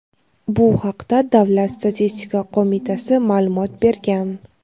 Bu haqda Davlat statistika qo‘mitasi ma’lumot bergan.